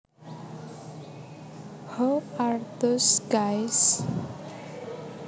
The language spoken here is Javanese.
Who are those guys